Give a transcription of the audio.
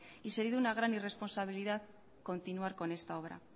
y sería de una gran irresponsabilidad continuar con esta obra